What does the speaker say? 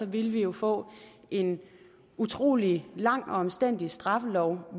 ville vi jo få en utrolig lang og omstændelig straffelov